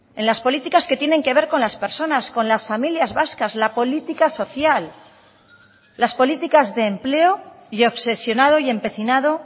en las políticas que tienen que ver con las personas con las familias vascas la política social las políticas de empleo y obsesionado y empecinado